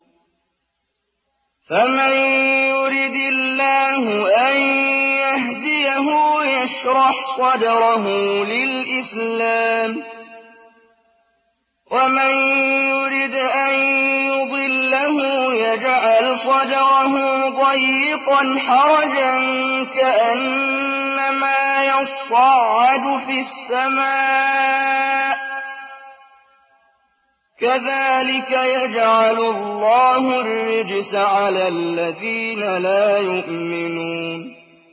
فَمَن يُرِدِ اللَّهُ أَن يَهْدِيَهُ يَشْرَحْ صَدْرَهُ لِلْإِسْلَامِ ۖ وَمَن يُرِدْ أَن يُضِلَّهُ يَجْعَلْ صَدْرَهُ ضَيِّقًا حَرَجًا كَأَنَّمَا يَصَّعَّدُ فِي السَّمَاءِ ۚ كَذَٰلِكَ يَجْعَلُ اللَّهُ الرِّجْسَ عَلَى الَّذِينَ لَا يُؤْمِنُونَ